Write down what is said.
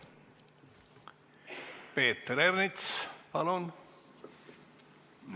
Peeter Ernits, palun!